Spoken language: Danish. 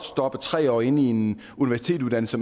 stoppe tre år inde i en universitetsuddannelse